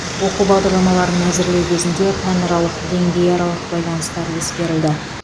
оқу бағдарламаларын әзірлеу кезінде пәнаралық деңгейаралық байланыстар ескерілді